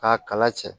K'a kala cɛ